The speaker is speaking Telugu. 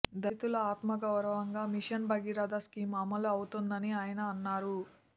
దళితుల ఆత్మగౌరవంగా మిషన్ భగీరద స్కీము అమలు అవుతోందని ఆయన అన్నారు